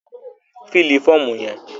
Fílì fọ́ọ̀mù yẹn!